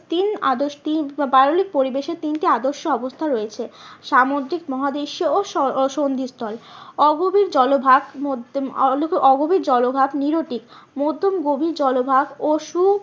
তিন পাললিক পরিবেশে তিনটি আদর্শ অবস্থা রয়েছে। সামুদ্রিক মহাদেশীও ও স্থল। অগভীর জলভাগ অগভীর জলভাগ মধ্যম গভীর জলভাগ ও সু